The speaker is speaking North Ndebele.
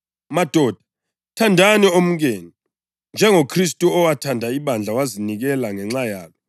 Madoda thandani omkenu njengoKhristu owathanda ibandla wazinikela ngenxa yalo